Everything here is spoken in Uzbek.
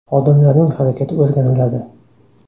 Xodimlarning harakati o‘rganiladi.